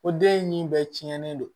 O den in bɛɛ cɛnnen don